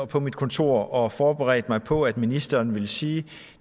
på mit kontor og forberedt mig på at ministeren ville sige at